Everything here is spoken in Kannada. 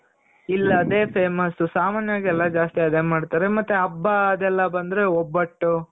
ಇಲ್ಲಿ ಅದೇ famous ಸಾಮಾನ್ಯವಾಗಿ ಎಲ್ಲಾ ಜಾಸ್ತಿ ಅದೇ ಮಾಡ್ತಾರೆ. ಮತ್ತೆ ಹಬ್ಬ ಅದೆಲ್ಲ ಬಂದ್ರೆ ಒಬ್ಬಟ್ಟು .